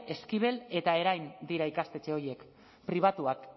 eskibel eta erain dira ikastetxe horiek pribatuak